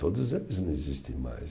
Todos eles não existem mais.